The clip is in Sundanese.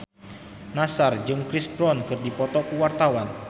Nassar jeung Chris Brown keur dipoto ku wartawan